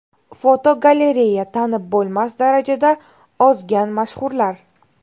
Fotogalereya: Tanib bo‘lmas darajada ozgan mashhurlar.